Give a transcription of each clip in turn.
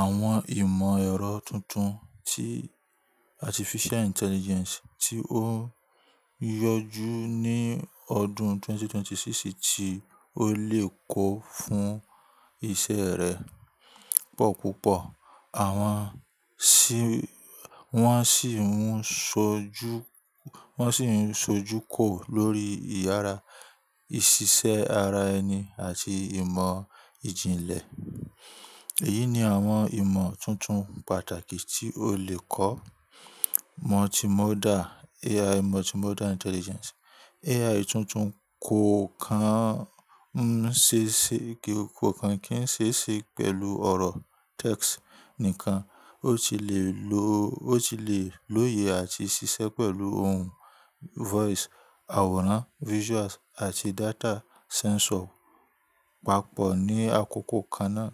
Àwọn ìmọ̀ ẹ̀rọ tuntun ti Artificial Intelligence tí ó yọjú ní ọdún 2026 tí ó lè kó fún iṣẹ́ rẹ pọ̀ púpọ̀. Àwọn ṣì, wọ́n sì ń sojú, wọ́n sì ń sojú kò lórí ìyára ìṣiṣẹ́ ara ẹni àti ìmọ̀ ìjìnlẹ̀. Èyí ni àwọn ìmọ̀ tuntun pàtàkì tí o lè kọ́. Multimodal, AI Multimodal Intelligence. AI tuntun kò kan ń ṣe ṣe kìí, kò kan kí ń ṣee ṣe pẹ̀lú ọ̀rọ̀ text nìkan. Ó ti lè lo, ó ti lè lóye àti ṣiṣẹ́ pẹ̀lú ohùn voice, àwòrán visuals àti data sensor papọ̀ ní àkókò kan náà.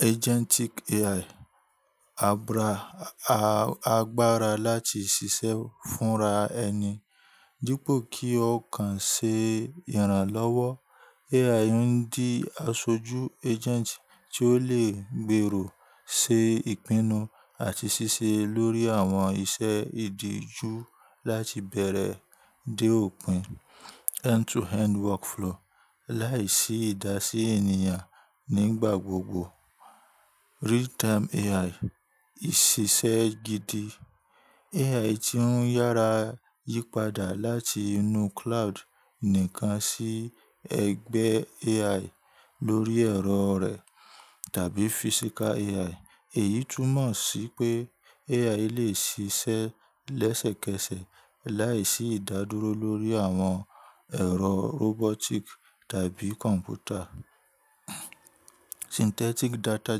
Agentic AI. --Abra, a a, agbára láti ṣiṣẹ́ fúnra ẹni. Dípo kí o kan ṣe iranlọ́wọ́, Ai ń di aṣojú agent tí ó lè gbèrò, ṣe ìpinnu àti ṣiṣẹ́ lórí àwọn iṣẹ́ ìdíju láti ibẹ̀rẹ̀ dé òpin end-to-end workflow láìsí ìdásí ènìyàn nígbà gbogbo. Real-time AI. Ìṣiṣẹ́ gidi. AI--- AI tí ń yára yípadà láti inú cloud nìkan sí ẹgbẹ́ AI lórí ẹ̀rọ rẹ̀ tàbí physical AI. Èyí túnmọ̀ sí pé AI lè ṣiṣẹ́ lẹ́sẹ̀kẹsẹ̀ láìsí ìdádúró lórí àwọn ẹ̀rọ robotic tàbí computer. Synthetic Data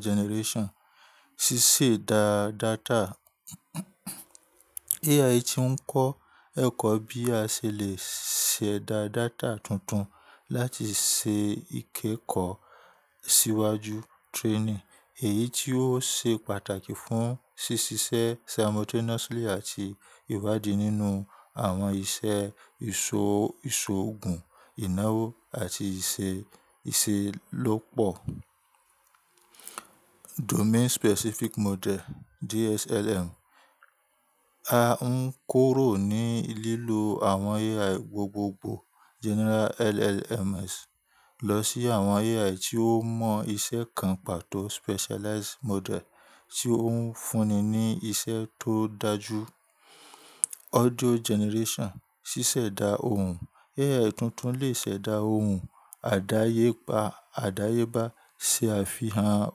Generation. Ṣíṣẹ̀ dá data. AI tí ń kọ́ ẹ̀kọ́ bí a ṣe lè ṣẹ̀dá data tuntun láti ṣe ìkẹ́kọ̀ọ́ síwájú training. Èyí tí ó ṣe pàtàkì fún ṣíṣiṣẹ́ simultaneously àti ìwádìí nínú àwọn iṣẹ́ ìṣò, ìṣòògùn, ìnáwó àti ìṣe, ìṣelópọ̀. Domain Specific Model, DSLM. A ń kurò ní lílo àwọn AI gbogbogbò General LLMs lọ sí àwọn AI tí ó mọ iṣẹ́ kan pàtó specialized model tí ó ń fúnni ní iṣẹ́ tó dájú. Audio Generation. Ṣíṣẹ̀dá ohùn. AI AI tuntun lè ṣẹ̀dá ohùn àdáyébá, àdáyébá ṣe àfihàn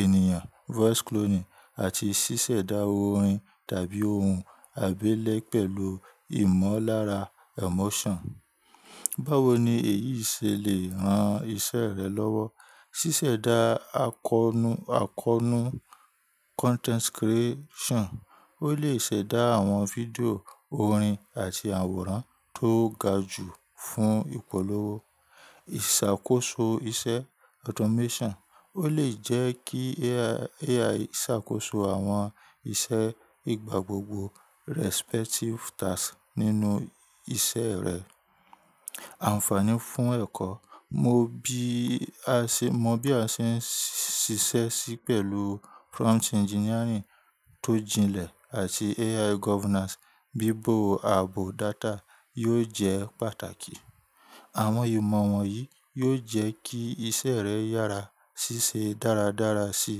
ènìyàn voice cloning àti ṣíṣẹ̀dá orin tàbí ohùn àbẹ́lẹ̀ pẹ̀lú ìmọ̀lára emotion. Báwo ni èyí ṣe lè ran iṣẹ́ rẹ lọ́wọ́? Ṣíṣẹ̀dá àkọnú, àkọonú content creation. Ó lè ṣẹ̀dá àwọn fídíò, orin àti àwòrán tó ga jù fún ìpolówó. Ìṣàkóso iṣẹ́ automation. Ó lè jẹ́ kí AI ṣàkóso àwọn iṣẹ́ ìgbà gbogbo respective tasks nínú iṣeẹ́ rẹ̀. Ànfààní fún ẹ̀kọ́. Mo bí a ṣe, mo bí a ṣe ń ṣiṣẹ́ sí pẹ̀lú prompt engineering tó jìnlẹ̀ àti AI governance bíbò ààbò data yóò jẹ́ pàtàkì. Àwọn ìmọ̀ wọ̀nyí yóò jẹ́ kí iṣẹ́ rẹ yára ṣíṣe dáradára si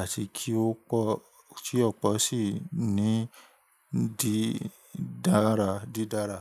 àti kí ó pọ̀, kí ópọ̀ sí ní di dára dídára.